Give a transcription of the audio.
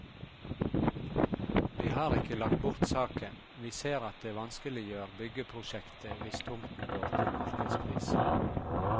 Vi har ikke lagt bort saken, vi ser at det vanskeliggjør byggeprosjektet hvis tomten går til markedspris.